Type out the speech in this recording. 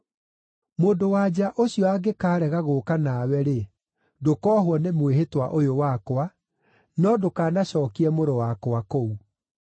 Mũndũ-wa-nja ũcio angĩkaarega gũũka nawe-rĩ, ndũkoohwo nĩ mwĩhĩtwa ũyũ wakwa; no ndũkanacookie mũrũ wakwa kũu.”